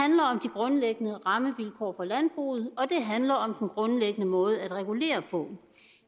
grundlæggende rammevilkår for landbruget og det handler om den grundlæggende måde at regulere på